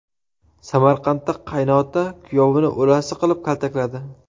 Samarqandda qaynota kuyovini o‘lasi qilib kaltakladi.